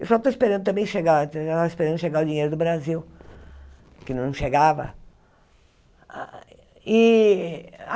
Eu só estou esperando também chegar, eu tava esperando chegar o dinheiro do Brasil, que não chegava. E